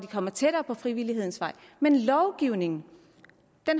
kommet tættere på frivillighedens vej men lovgivningen